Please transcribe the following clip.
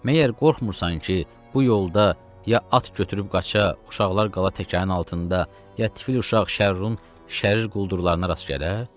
Məyər qorxmursan ki, bu yolda ya at götürüb qaça, uşaqlar qala tələrin altında, ya tifil uşaq Şərrurun şərir quldurlarına rast gələ?